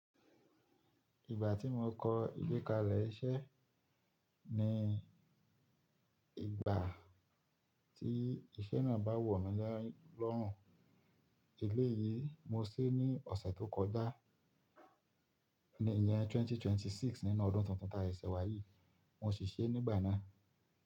Ìgbà tí mo kọ ìgbékalẹ̀ iṣẹ́ ni ìgbà tí iṣẹ́ náà bá wọ̀ mí lọ́rùn. Eléyìí mo ṣí ní ọ̀sẹ̀ tó kọjá ní ìyẹn 2026 nínú ọdún tuntun taa sesẹ̀ wá yìí. Mo ṣì ṣe é nígbà náà.